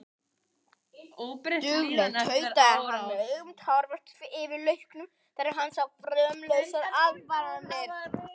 Dugleg, tautaði hann með augun tárvot yfir lauknum þegar hann sá fumlausar aðfarirnar.